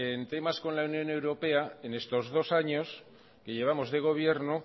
en temas con la unión europea en estos dos años que llevamos de gobierno